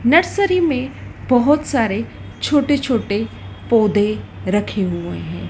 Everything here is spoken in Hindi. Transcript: नर्सरी में बहोत सारे छोटे छोटे पोधै रखे हुए हैं।